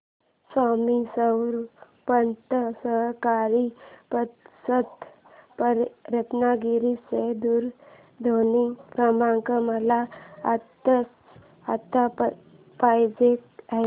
स्वामी स्वरूपानंद सहकारी पतसंस्था रत्नागिरी चा दूरध्वनी क्रमांक मला आत्ताच्या आता पाहिजे आहे